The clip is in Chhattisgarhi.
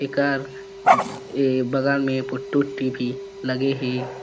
एकर ए बगल में पुट्टी-वुट्टी भी लगे हें।